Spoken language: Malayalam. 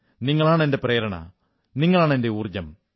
നിങ്ങളാണ് എന്റെ പ്രേരണ നിങ്ങളാണ് എന്റെ ഊർജ്ജം